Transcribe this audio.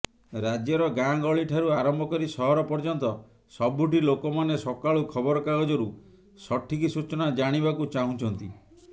ରାଜ୍ୟର ଗାଁ ଗହଳିଠାରୁ ଆରମ୍ଭକରି ସହର ପର୍ଯ୍ୟନ୍ତ ସବୁଠି ଲୋକମାନେ ସକାଳୁ ଖବରକାଗଜରୁ ସଠିକ ସୂଚନା ଜାଣିବାକୁ ଚାହୁଁଛନ୍ତି